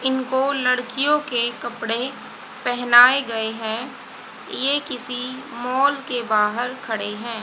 इनको लड़कियों के कपड़े पहनाए गए हैं ये किसी मॉल के बाहर खड़े हैं।